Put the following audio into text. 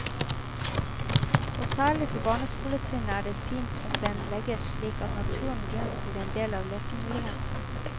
Og særlig for barneskoletrinnet er det fint om den legges slik at naturen rundt blir en del av lekemulighetene.